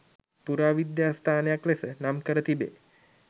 පුරාවිද්‍යාස්ථානයක් ලෙස නම්කර තිබේ.